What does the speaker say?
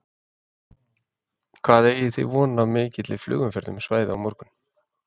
Hvað eigið þið vona á mikilli flugumferð um svæðið á morgun?